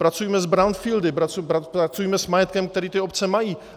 Pracujme s brownfieldy, pracujme s majetkem, který ty obce mají.